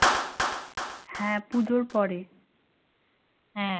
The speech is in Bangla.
হ্যাঁ পুজোর পরে। হ্যাঁ